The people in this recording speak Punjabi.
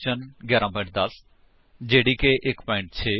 ਇਕਲਿਪਸ ਦੀ ਵਰਤੋ ਕਰਕੇ ਜਾਵਾ ਵਿੱਚ ਕਲਾਸ ਦਾ ਆਬਜੇਕਟ ਅਤੇ ਕਲਾਸ ਕਿਵੇਂ ਬਣਾਈਏ